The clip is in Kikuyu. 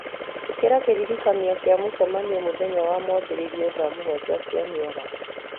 ĩkĩra kĩririkania kĩa mũcemanio mũthenya wa mwambĩrĩrio thaa mũgwanja cia mĩaraho